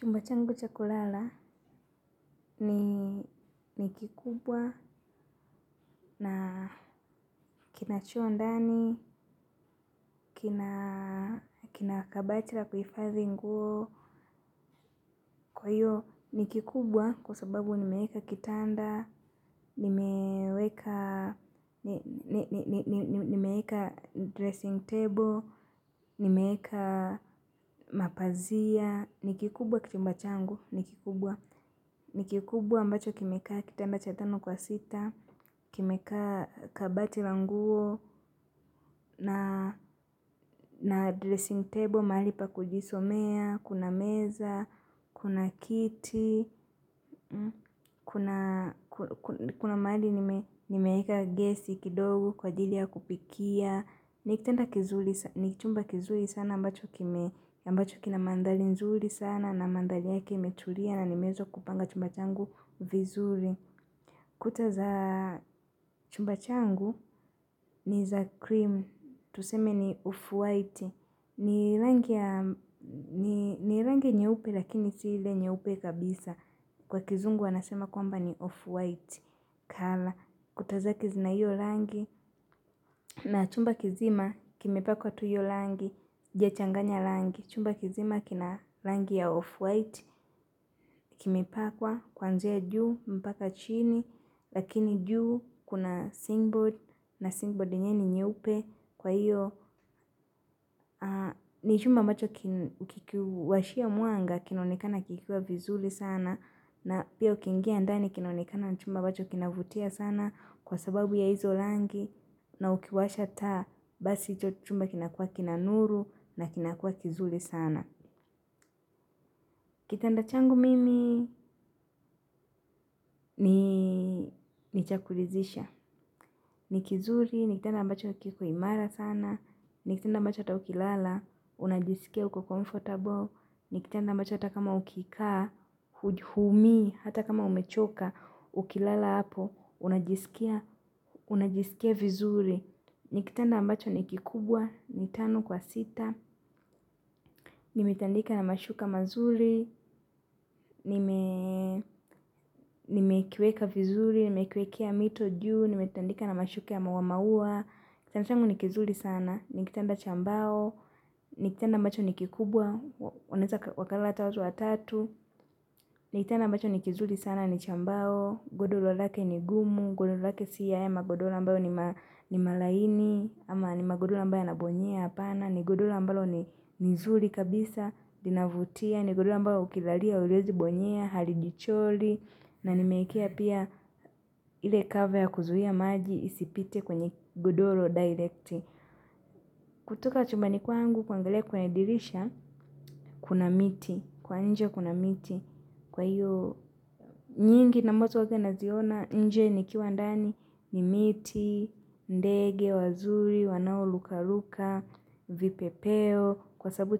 Chumba changu cha kulala ni nikikubwa na kina choo ndani, kina kabati la kuifadhi nguo. Kwa hiyo nikikubwa kwa sababu nimeeka kitanda, nimee nimeeka dressing table. Nimeeka mapazia, nikikubwa chumba changu nikikubwa nikikubwa ambacho kimekaa kitanda cha tano kwa sita. Kimekaa kabati la nguo na dressing table mahali pa kujisomea, kuna meza, kuna kiti, kuna mahali nimeeka gesi kidogo kwa ajili ya kupikia. Nikitanda kizuri, ni chumba kizuri sana ambacho kina mandhari nzuri sana na mandhari yake imetulia na nimeweza kupanga chumba changu vizuri. Kuta za chumba changu ni za cream, tuseme ni off-white, ni rangi ya ni rangi nyeupe lakini si ile nyeupe kabisa, kwa kizungu wanasema kwamba ni off-white, colour, kuta zake zina hiyo rangi, na chumba kizima kimepakwa tu hiyo rangi, haijachanganya rangi, chumba kizima kina rangi ya off-white, kimepakwa, kuanzia juu, mpaka chini, lakini juu kuna silingboard na sillingboard enyewe ni nyeupe kwa hiyo ni chumba ambacho kikiwashia mwanga kinaonekana kikiwa vizuri sana. Na pia ukiingia ndani kinaonekana ni chumba ambacho kinavutia sana kwa sababu ya hizo rangi na ukiwasha taa basi hicho chumba kinakuwa kina nuru na kinakuwa kizuri sana. Kitanda changu mimii ni cha kuridhisha. Nikizuri, nikitanda ambacho kiko imara sana, nikitanda ambacho hata ukilala, unajisikia uko comfortable, nikitanda ambacho hata kama ukikaa, huumi, hata kama umechoka, ukilala hapo, unajisikia vizuri. Ni kitanda ambacho ni kikubwa, ni tano kwa sita nimitandika na mashuka mazuri nimekiweka vizuri, ni mekiwekea mito juu nimetandika na mashuka ya maua maua. Kitanda changu nikizuri sana. Ni kitanda cha mbao. Ni kitanda ambacho ni kikubwa wanaeza wakalala hata watu watatu. Ni kitanda ambacho ni kizuri sana ni cha mbao. Godoro lake ni gumu. Godoro lake si haya magodoro ambayo ni ma ni malaini. Ama ni magodoro ambaye yanabonyea hapana ni godoro ambalo ni nzuri kabisa, linavutia, ni godoro ambayo ukilalia, huwezi bonyea, halijichori, na nimeiwekea pia ile cover ya kuzuia maji isipite kwenye godoro directi. Kutoka chumbani kwangu kuangalia kwenye dirisha, kuna miti, kwa nje kuna miti. Kwa hiyo, nyingi na ambazo yote naziona, nje nikiwa ndani, ni miti, ndege, wazuri, wanao ruka ruka, vipepeo, kwa sababu